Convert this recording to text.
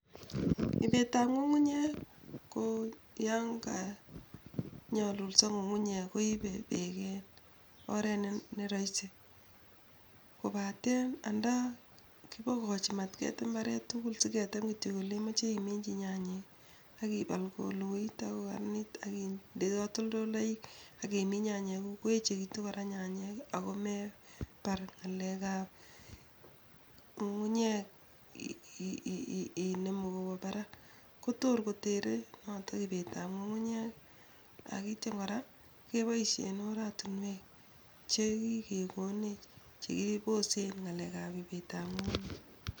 Ibetap ng'ung'unyek ko yon ko nyalulso ng'ung'unyek koibe peek en oret ne roisi kobaten nda kibokochi mat ketem mbaret tugul siketem kityok ole imoche iminchi nyanyik ak ipal koloit ak kokaranit ak inde katoltoloik ak imin nyanyiguk koechegitu kora nyanyik ago mebar ng'alekap ng'ung'unyek inemu kobwa parak kotor kotere notok ipeetap ng'ung'unyek ak ityo kora keboisien oratinwek chekigekonech chekiposen ng'alekap ibetap ng'ung'unyek